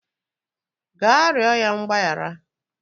Gaa rịọ ya mgbaghara